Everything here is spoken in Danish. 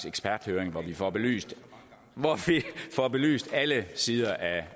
eksperthøring hvor vi får belyst får belyst alle sider